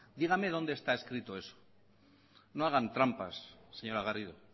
dígame dónde está escrito eso no hagan trampas señora garrido